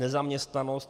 Nezaměstnanost.